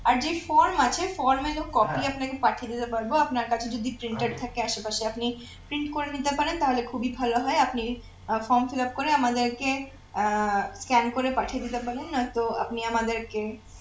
আর যে form আছে form এরও copy আপনাকে পাঠিয়ে দিতে পারব আপনার কাছে যদি printer থাকে আশেপাশে আপনি print করে নিতে পারেন তাহলে খুবি ভালো হয় আপনি form fillup করে আমাদেরকে আহ scan করে পাঠিয়ে দিতে পারেন আর তো আপনি আমাদেরকে